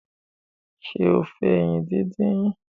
ṣe o fè ẹyin dín dín?